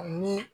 Ni